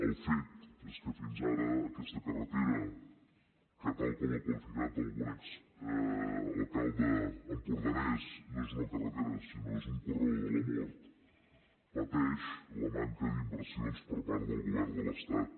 el fet és que fins ara aquesta carretera que tal com ha qualificat algun exalcalde empordanès no és una carretera sinó que és un corredor de la mort pateix la manca d’inversions per part del govern de l’estat